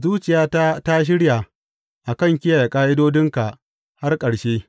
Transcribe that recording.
Zuciyata ta shirya a kan kiyaye ƙa’idodinka har ƙarshe.